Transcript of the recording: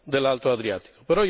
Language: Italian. dell'alto Adriatico.